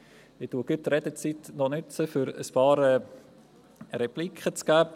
Ich nutze die Redezeit gleich für ein paar Repliken.